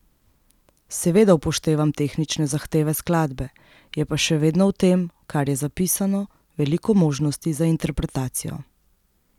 Seveda upoštevam tehnične zahteve skladbe, je pa še vedno v tem, kar je zapisano, veliko možnosti za interpretacijo.